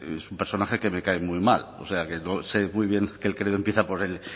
es un personaje que me cae muy mal o sea que yo sé muy bien que el credo empieza por el